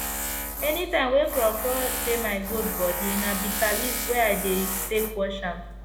anytime wey kro kro dey my goat bodi na bita leaf water i dey take wash am